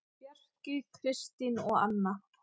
Bjarki, Kristín og Anna.